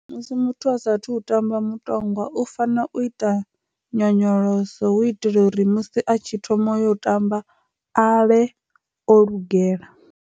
Musi muthu a sathu u tamba mutongwa u fanela u ita nyonyoloso hu itela uri musi atshi thoma yo tamba avhe o lugela.